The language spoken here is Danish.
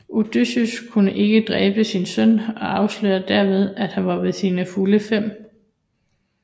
Odysseus kunne ikke dræbe sin søn og afslørede derved at han var ved sine fulde fem